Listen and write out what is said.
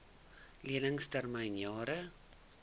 lening termyn jare